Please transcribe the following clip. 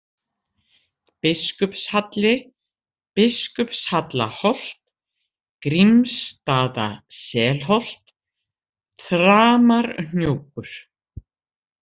Biskupshalli, Biskupshallaholt, Grímarsstaða-Selholt, Þramarhnjúkur